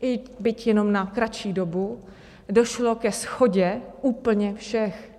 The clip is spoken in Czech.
i byť jenom na kratší dobu - došlo ke shodě úplně všech.